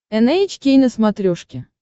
эн эйч кей на смотрешке